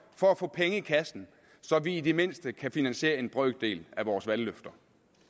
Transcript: for at få penge i kassen så vi i det mindste kan finansiere en brøkdel af vores valgløfter